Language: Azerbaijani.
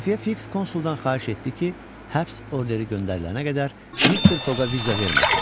Xəfiyyə fiks konsuldan xahiş etdi ki, həbs orderi göndərilənə qədər Mister Foqa viza verməsin.